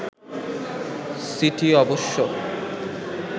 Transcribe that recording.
city অবশ্য